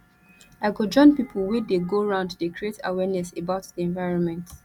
i go join pipo wey dey go round dey create awareness about di environment